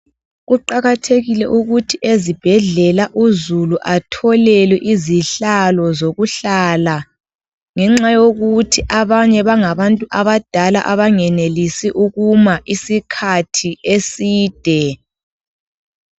Kuqakathekile ukuthi ezibhedlela uzulu atholelwe izihlalo zokuhlala ngenxa yokuthi abanye bangabantu abadala abangenelisi ukuma isikhathi eside.